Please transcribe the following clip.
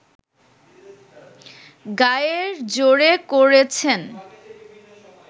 গায়ের জোরে করেছেন